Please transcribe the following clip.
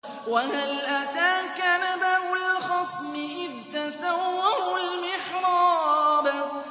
۞ وَهَلْ أَتَاكَ نَبَأُ الْخَصْمِ إِذْ تَسَوَّرُوا الْمِحْرَابَ